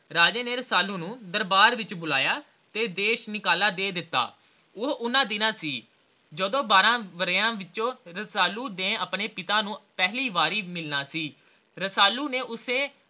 ਰਾਜੇ ਨੇ ਰਸਾਲੂ ਨੂੰ ਦਰਬਾਰ ਵਿਚ ਬੁਲਾਇਆ ਅਤੇ ਦੇਸ਼ ਨਿਕਾਲਾ ਦੇ ਦਿੱਤਾ ਇਹ ਉਹ ਉਹਨਾਂ ਦਿਨਾਂ ਸੀ ਜਦੋ ਬਾਰਹ ਵਰਿਆਂ ਵਿੱਚੋ ਰਸਾਲੂ ਨੇ ਆਪਣੇ ਪਿਤਾ ਨੂੰ ਪਹਿਲੀ ਵਾਰ ਮਿਲਣਾ ਸੀ ਰਸਾਲੂ ਨੇ ਉਸੇ